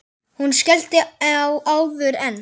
Hún skellti á áður en